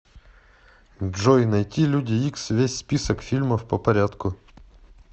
джой найти люди икс весь список фильмов по порядку